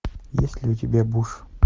есть ли у тебя буш